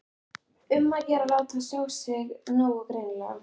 Um að gera að láta sjá sig nógu greinilega!